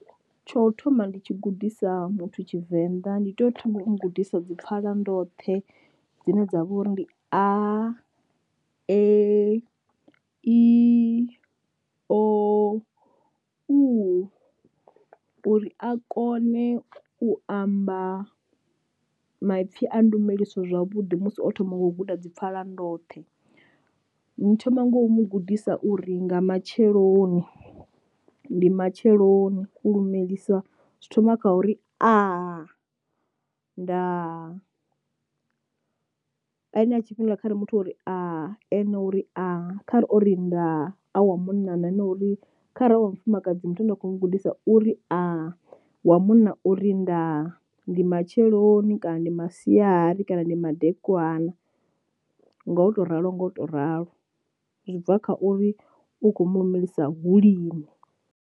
Tsho thoma ndi tshi gudisa muthu tshivenḓa ndi tea u thoma u gudisa dzi pfhala ndoṱhe dzine dza vha uri ndi a e i o u, uri a kone u amba maipfi a ndumeliso zwavhuḓi musi o thoma ngo u guda dzi pfhala ndoṱhe. Ni thoma ngo u mu gudisa u ri nga matsheloni ndi matsheloni ku lumelisa zwi thoma kha uri Aa ndaa. Ane a tshifhinga kha ri muthu uri aa ane o uri aa o ri ndaa a wa munna na ene uri kharali wa mufumakadzi muthu ane nda kho mu gudisa uri aa wa munna uri ndaa ndi matsheloni kana ndi masiari kana ndi madekwana, ngo to ralo nga u to ralo zwi bva kha uri u kho mulumelisa hu lini.